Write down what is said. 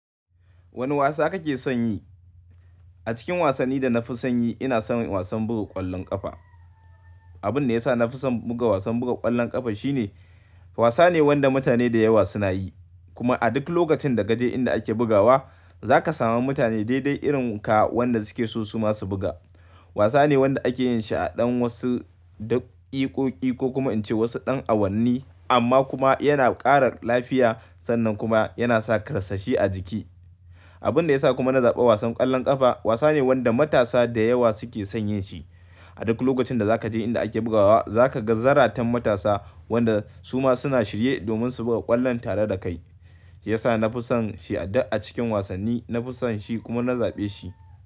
Wane wasa kake son yi? A cikin wasanni da na fi son yi, ina son wasan buga ƙwallon ƙafa. Abin da ya sa na fi son buga wasan buga ƙwallon ƙafa shine, wasa ne wanda mutane da yawa suna yi. Kuma a duk lokacin da ka je inda ake bugawa, za ka samu mutane daidai irin ka wanda suke so su ma su buga. Wasa ne wanda ake yin shi a ɗan wasu da ƙiƙƙoƙi ko kuma in ce wasu ɗan awanni amma kuma yana ƙara lafiya sannan kuma yana sa karsashi a jiki. Abin da ya sa kuma na zaɓi wasan ƙwallon ƙafa wasa ne wanda matasa da yawa suke son yin shi. A duk lokacin da za ka je inda ake bugawa za ka ga zaratan matasa wanda su ma suna shirye domin su buga ƙwallon tare da kai. Ya sa na fi son shi a da a cikin wasanni, na fi son shi kuma na zaɓe shi.